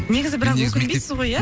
негізі бірақ өкінбейсіз ғой иә